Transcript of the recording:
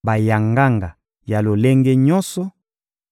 bayanganga ya lolenge nyonso: